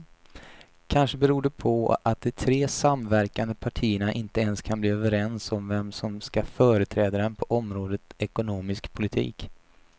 Kanske beror det på att de tre samverkande partierna inte ens kan bli överens om vem som ska företräda dem på området ekonomisk politik.